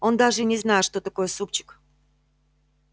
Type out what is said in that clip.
он даже и не знает что такое супчик